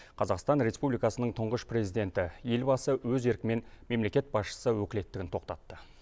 қазақстан республикасының тұңғыш президенті елбасы өз еркімен мемлекет басшысы өкілеттігін тоқтатты